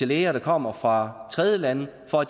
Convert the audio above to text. læger der kommer fra tredjelande og